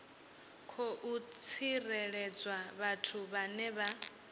khou tsireledzwa vhathu vhane vha